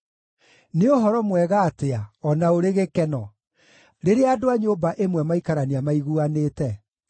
Nĩ ũhoro mwega atĩa, o na ũrĩ gĩkeno, rĩrĩa andũ a nyũmba ĩmwe maikarania maiguanĩte!